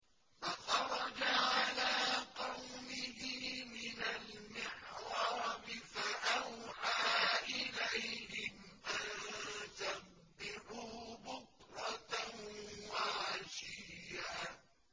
فَخَرَجَ عَلَىٰ قَوْمِهِ مِنَ الْمِحْرَابِ فَأَوْحَىٰ إِلَيْهِمْ أَن سَبِّحُوا بُكْرَةً وَعَشِيًّا